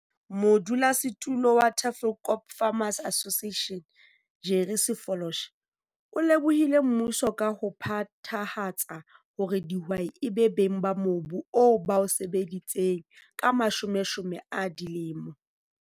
Modulosetulo wa Tafelkop Farmers Association, Jerry Sefoloshe, o lebohile mmuso ka ho phethahatsa hore dihwai e be beng ba mobu oo ba o sebeditseng ka mashomeshome a dilemo.